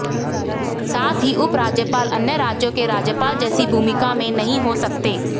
साथ ही उपराज्यपाल अन्य राज्यों के राज्यपाल जैसी भूमिका में नहीं हो सकते